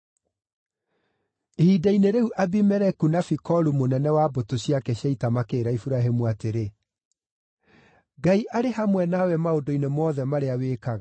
Ihinda-inĩ-rĩu Abimeleku na Fikolu mũnene wa mbũtũ ciake cia ita makĩĩra Iburahĩmu atĩrĩ, “Ngai arĩ hamwe nawe maũndũ-inĩ mothe marĩa wĩkaga.